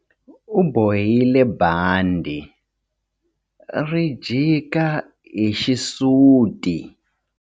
U bohile bandhi ri jika hi xisuti.